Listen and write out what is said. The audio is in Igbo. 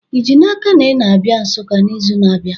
Ị ji n'aka na ị na-abịa Nsukka n'izu na-abịa?